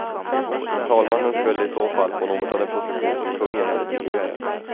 Talmannen skulle i så fall få något av den position som kungen hade tidigare.